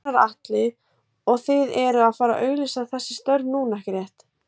Gunnar Atli: Og þið eruð að fara auglýsa þessi störf núna, ekki rétt?